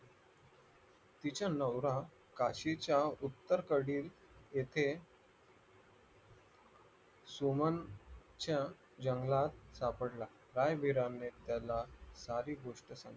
तिचा नवरा काशीच्या उत्तरेकडील येथे सुमनच्या जंगलात सापडला राय-विराने त्याला सारी गोष्ट सांगितली